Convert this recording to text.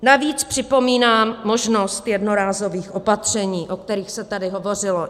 Navíc připomínám možnost jednorázových opatření, o kterých se tady hovořilo.